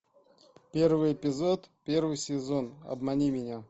первый эпизод первый сезон обмани меня